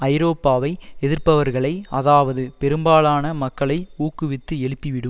ஐரோப்பாவை எதிர்ப்பவர்களை அதாவது பெரும்பாலான மக்களை ஊக்குவித்து எழுப்பி விடும்